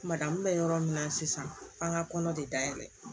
Kuma da min bɛ yɔrɔ min na sisan f'an ka kɔnɔ de dayɛlɛ